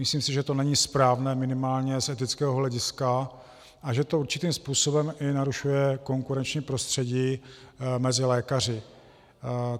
Myslím si, že to není správné minimálně z etického hlediska a že to určitým způsobem i narušuje konkurenční prostředí mezi lékaři.